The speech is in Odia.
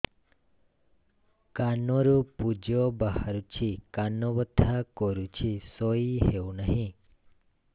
କାନ ରୁ ପୂଜ ବାହାରୁଛି କାନ ବଥା କରୁଛି ଶୋଇ ହେଉନାହିଁ